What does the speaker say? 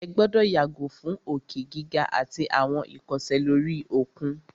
Ẹ gbọ́dọ̀ yàgò fún òkè gíga àtí àwọn ìkọsẹ̀ lóri òkun!